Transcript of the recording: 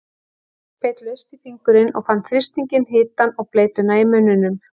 Sveinn beit laust í fingurinn og fann þrýstinginn, hitann og bleytuna í munninum.